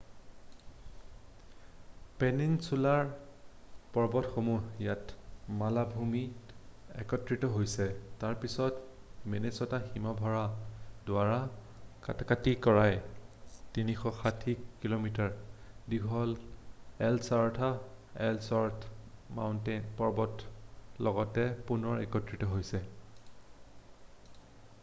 peninsular পৰ্বতসমূহ ইয়াত মালভূমিত একত্ৰিত হৈছে তাৰপাছত মিনেছ'টা হীমবাহৰ দ্বাৰা কটাকটি কৰি ৩৬০ কি:মি: দীঘল এলছৱৰ্থ পৰ্বতমালাৰ লগত পুনৰ একত্ৰিত হৈছে৷